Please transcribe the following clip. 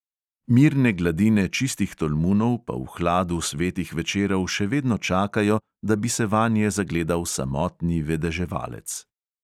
Mirne gladine čistih tolmunov pa v hladu svetih večerov še vedno čakajo, da bi se vanje zagledal samotni vedeževalec …